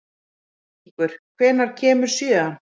Víkingur, hvenær kemur sjöan?